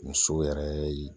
Muso yɛrɛ ye